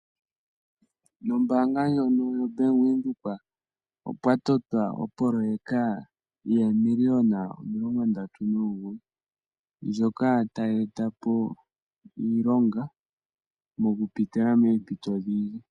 Nombaanga ndjono yoBank Windhoek opwatotwa opoloweka yomiiliona omilongo ndatu nomugoyi, ndjoka tayeeta po iilonga mokupitila moompito odhindji.